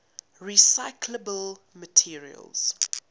recyclable materials